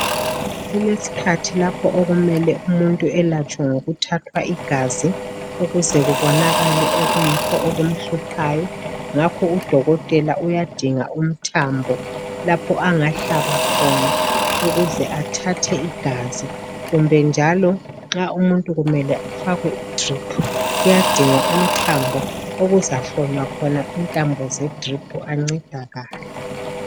Kulesikhathi lapho okumele umuntu elatshwe ngokuthathwa igazi ukuze kubonakale okuyikho okumhluphayo. Ngakho udokotela uyadinga umthambo lapho angahlaba khona ukuze athathe igazi. Kumbe njalo nxa umuntu kumele afakwe idriphu uyadinga umthambo okuzahlonywa khona intambo zedriphu ancedakale.